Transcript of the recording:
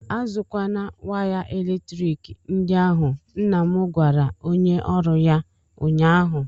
A zụkwala waya eletrik ndị ahụ! nna m gwara onye ọrụ ya ụnyaahụ!